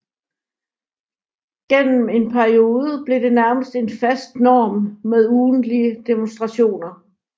Gennem en periode blev det nærmest en fast norm med ugentlige demonstrationer